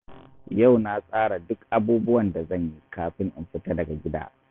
Yau na tsara duk abubuwan da zan yi kafin in fita daga gida.